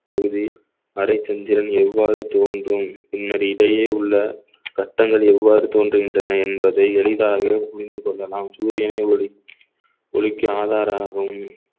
பகுதி அரைச்சந்திரன் எவ்வாறு தோன்றும் பின்னர் இடையே உள்ள சட்டங்கள் எவ்வாறு தோன்றுகின்றன என்பதை எளிதாக புரிந்து கொள்ளலாம் சூரியனே ஒளி ஒளிக்கு ஆதாராகவும்